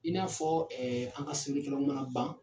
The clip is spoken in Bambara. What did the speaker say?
I n'a fɔ an ka sɛbɛnnikɛlanw mana ban.